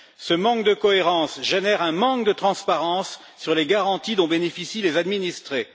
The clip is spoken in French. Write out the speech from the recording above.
Ce manque de cohérence génère un manque de transparence sur les garanties dont bénéficient les administrés.